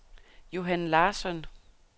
Johan Larsson